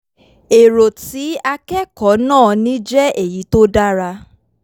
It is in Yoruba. èrò tí akẹ́kọ̀ọ́ náà ní jẹ́ èyí tó dára